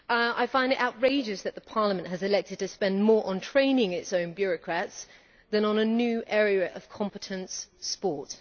I find it outrageous that Parliament has elected to spend more on training its own bureaucrats than on a new area of competence sport.